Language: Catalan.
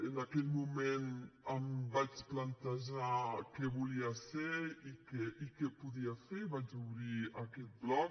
en aquell moment em vaig plantejar què volia ser i què podia fer i vaig obrir aquest blog